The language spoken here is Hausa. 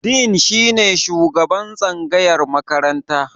Dean shine shugaban tsangayar makaranta.